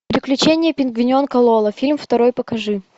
приключения пингвиненка лоло фильм второй покажи